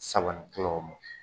Saba ni kila o mɔ